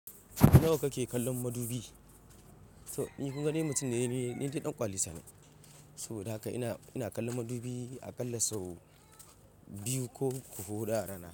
Nawa kake kallon madubi? To ni kunga dai mutum ne, ni dai ɗan ƙwalisa ne. Saboda haka ina, ina kallon madubi aƙalla sau biyu ko huɗu a rana.